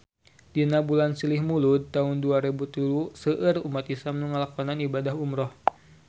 Dina bulan Silih Mulud taun dua rebu tilu seueur umat islam nu ngalakonan ibadah umrah